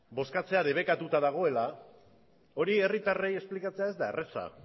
bozkatzea debekatuta dagoela hori herritarrei esplikatzea ez da erraza